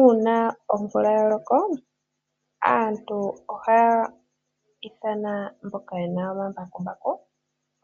Uuna omvula ya loko, aantu ohaya ithana mboka ye na omambakumbaku